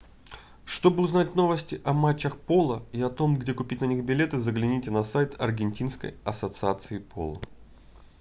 чтобы узнать новости о матчах поло и о том где купить на них билеты загляните на сайт аргентинской ассоциации поло